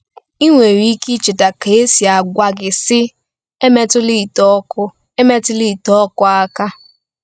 Ị nwere ike icheta ka e si gwa gị, sị: “Emetụla ite ọkụ “Emetụla ite ọkụ aka.”